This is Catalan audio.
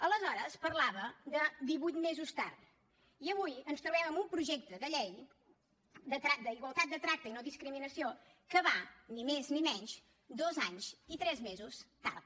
aleshores parlava de divuit mesos tard i avui ens trobem amb un projecte de llei d’igualtat de tracte i no discriminació que va ni més ni menys dos anys i tres mesos tard